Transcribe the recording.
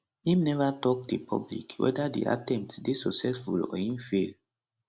im neva tok di public whether di attempt dey successful or im fail